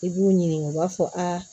I b'u ɲininka u b'a fɔ